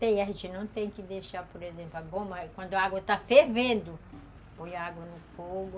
Tem, a gente não tem que deixar, por exemplo, a goma... Quando a água está fervendo, põe a água no fogo.